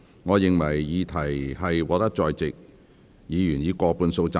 我認為議題獲得在席議員以過半數贊成。